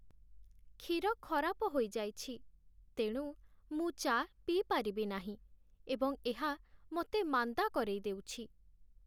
କ୍ଷୀର ଖରାପ ହୋଇଯାଇଛି ତେଣୁ ମୁଁ ଚା' ପିଇପାରିବି ନାହିଁ, ଏବଂ ଏହା ମୋତେ ମାନ୍ଦା କରେଇଦେଉଛି।